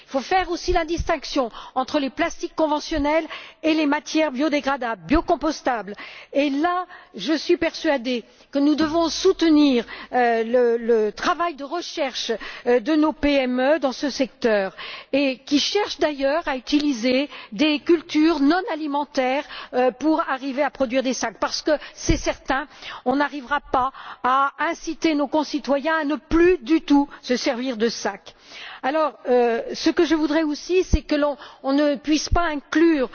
Il faut faire aussi la distinction entre les plastiques conventionnels et les matières biodégradables ou compostables. Et là je suis persuadée que nous devons soutenir l'activité de recherche de nos PME dans ce secteur, qui cherchent d'ailleurs à utiliser des cultures non alimentaires pour arriver à produire des sacs parce qu'il est certain qu'on n'arrivera pas à inciter nos concitoyens à ne plus du tout se servir de sacs. Ce que je souhaite aussi, c'est qu'on ne puisse pas inclure,